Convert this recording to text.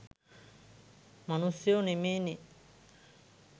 මනුස්සයෝ නෙමේනේ